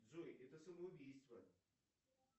джой это самоубийство